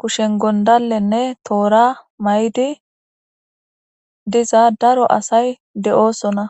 kushen gondallenne toora may7di diza daro asay de7oosona